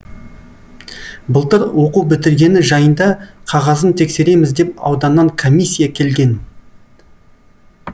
былтыр оқу бітіргені жайында қағазын тексереміз деп ауданнан комиссия келген